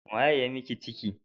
Wa ya yi miki ciki?